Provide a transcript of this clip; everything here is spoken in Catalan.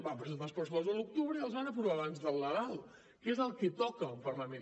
van presentar els pressupostos a l’octubre i els van aprovar abans de nadal que és el que toca a un parlament